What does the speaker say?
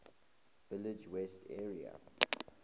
village west area